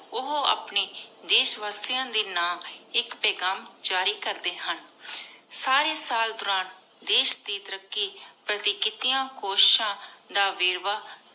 ਓਹੋ ਆਪਣੀ ਦੇਸ਼ ਵਾਸਿਯਾਂ ਦੇ ਨਾਮ ਆਇਕ ਪੇਘਾਮ ਜਾਰੀ ਕਰਦੀ ਹਨ। ਸਾਰੀ ਸਾਲ ਦੋਰਾਨ ਦੇਸ਼ ਦੇ ਤਾਰਾਕ਼ੀ ਪਾਰਟੀ ਕਿਤਿਯਾਂ ਕੋਸ਼ਿਸ਼ਾਂ ਦਾ ਵੇਰ੍ਵਾਹ